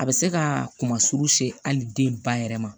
A bɛ se ka kunnasuru se hali den ba yɛrɛ ma